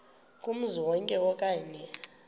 kumzi wonke okanye